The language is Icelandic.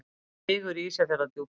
Vigur í Ísafjarðardjúpi.